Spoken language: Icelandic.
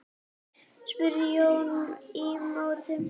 spurði Jón í móti.